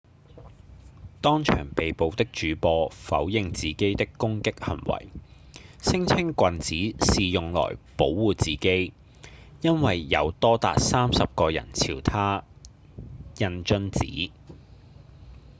當場被捕的主播否認自己的攻擊行為聲稱棍子是用來保護自己因為有多達30個人朝他扔瓶子